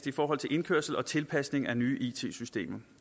i forhold til indkørsel og tilpasning af nye it systemer